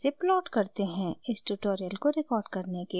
इस tutorial को record करने के लिए मैं उपयोग कर रही हूँ